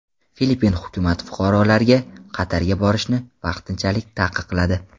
Filippin hukumat fuqarolarga Qatarga borishni vaqtinchalik taqiqladi.